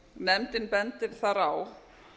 nefndin bendir þar á